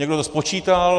Někdo to spočítal?